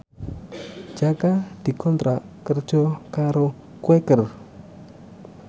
Jaka dikontrak kerja karo Quaker